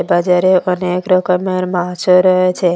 বাজারে অনেক রকমের মাছও রয়েছে।